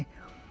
Sevindi.